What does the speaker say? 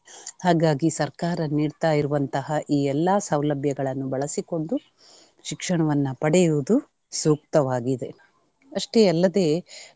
ಹಾಗಾಗಿ ಸರ್ಕಾರ ನೀಡ್ತಾಯಿರುವಂತಹ ಈ ಎಲ್ಲಾ ಸೌಲಭ್ಯಗಳನ್ನು ಬಳಸಿಕೊಂಡು ಶಿಕ್ಷಣವನ್ನ ಪಡೆಯುವುದು ಸೂಕ್ತವಾಗಿದೆ. ಅಷ್ಟೇ ಅಲ್ಲದೆ.